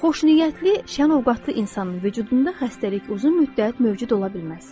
Xoşniyyətli, şənövqətli insanın vücudunda xəstəlik uzun müddət mövcud ola bilməz.